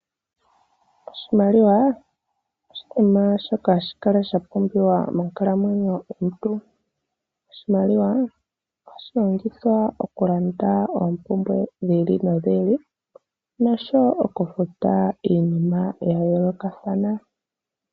Iimaliwa oya pumbiwa monkalamwenyo ya kehe omuntu, oshoka ohatu yi longitha okulanda oompumbwe dhetu dha kehe siku nosho woo oku futa iinima yiili no yiili .